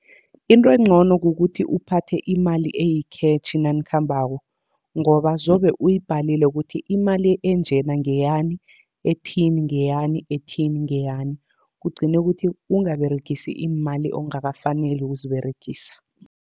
Into encono kukuthi uphathe imali eyikhetjhi nanikhambako, ngoba zobe uyibhalile kuthi imali enjena ngeyani, ethini ngeyani, ethini ngeyani. Kugcine kuthi ungaberegisi iimali ongakafaneli ukuziberegisa.